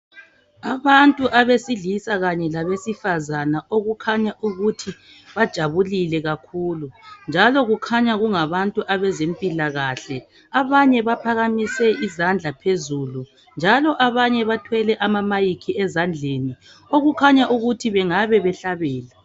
Abantu abesilisa kanye labesifazana okukhanya ukuthi bajabulile kakhulu. Njalo kukhanya kungabantu abezempilakahle. Abanye baphakamise izandla phezulu njalo abanye abanye bathwele ama mic ezandleni okukhanya ukuthi bangabe behlabela.